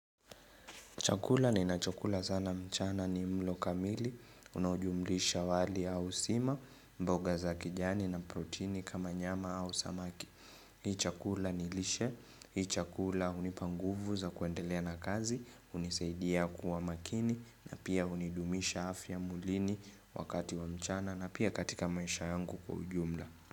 Chakula ninachokula sana mchana ni mlo kamili, unaojumlisha wali au sima, mboga za kijani na protini kama nyama au samaki. Hii chakula ni lishe, hii chakula hunipa nguvu za kuendelea na kazi, hunisaidia kuwa makini na pia hunidumisha afya mwilini wakati wa mchana na pia katika maisha yangu kwa ujumla.